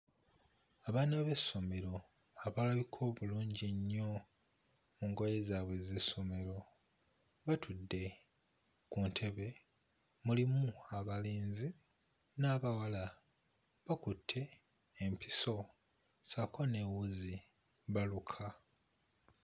Abaana b'essomero abalabika obulungi ennyo mu ngoye zaabwe ez'essomero batudde ku ntebe, mulimu abalenzi n'abawala bakutte empiso ssaako ne wuzi baluka.